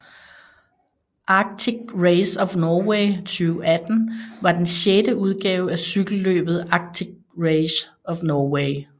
Arctic Race of Norway 2018 var den sjette udgave af cykelløbet Arctic Race of Norway